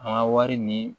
An ka wari ni